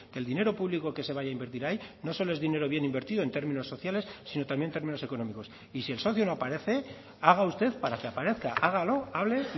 que el dinero público que se vaya a invertir ahí no solo es dinero bien invertido en términos sociales sino también en términos económicos y si el socio no aparece haga usted para que aparezca hágalo hable